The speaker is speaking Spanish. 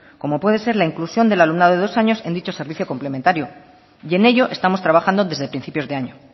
como puede ser la inclusión del alumnado de dos años en dicho servicio complementario y en ello estamos trabajando desde principios de año